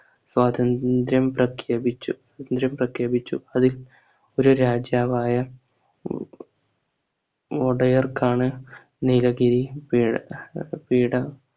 സ്വാതന്ത്ര്യം പ്രഖ്യാപിച്ചു ന്ത്ര്യം പ്രഖ്യാപിച്ചു അതിൽ ഒരു രാജാവായ ഏർ മോഡയർക്കാണ് നീലഗിരി പി പീഠ